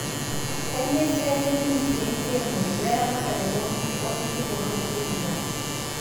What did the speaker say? Kanyioo esiai e ministry Enkiremore, we ramatare oo nkishu o sinkir tolosho le Uganda?